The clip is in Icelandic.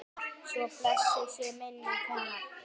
Svo blessuð sé minning hennar.